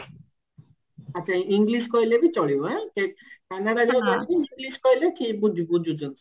ଆଛା English କହିଲେ ବି ଚଲିବ ଆଁ English କହିଲେ ଠିକ ବୁଝୁଛନ୍ତି